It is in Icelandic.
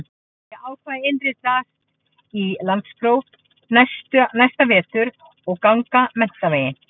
Ég ákvað að innritast í landspróf næsta vetur og ganga menntaveginn.